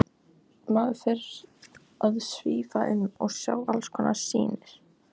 Heitt vatn fékkst með borun á Reykjum á Skeiðum.